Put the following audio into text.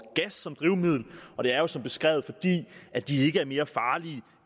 gas som drivmiddel det er jo som beskrevet fordi de ikke er mere farlige